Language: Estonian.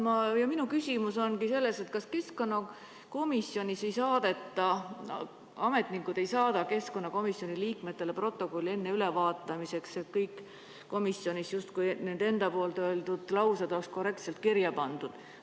Minu küsimus ongi selles, kas keskkonnakomisjoni ametnikud ei saada keskkonnakomisjoni liikmetele protokolli ülevaatamiseks, et kõik komisjonis justkui nende enda öeldud laused saaksid korrektselt kirja pandud.